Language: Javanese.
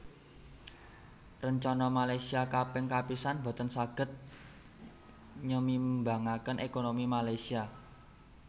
Rencana Malaysia Kaping Kapisan boten saged nyemimbangaken ékonomi Malaysia